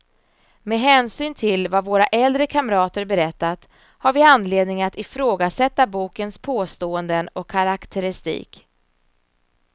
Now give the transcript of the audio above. Med hänsyn till vad våra äldre kamrater berättat, har vi anledning att ifrågasätta bokens påståenden och karaktäristik.